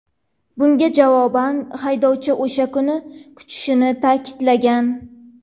Bunga javoban haydovchi o‘sha kunni kutishini ta’kidlagan.